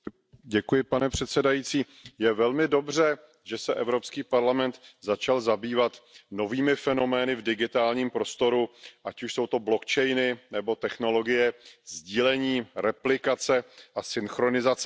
Pane předsedající, je velmi dobře, že se Evropský parlament začal zabývat novými fenomény v digitálním prostoru, ať už jsou to blockchainy nebo technologie sdílení, replikace a synchronizace dat.